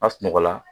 A sunɔgɔ la